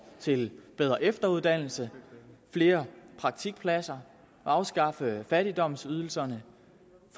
til bedre efteruddannelse flere praktikpladser afskaffelse af fattigdomsydelserne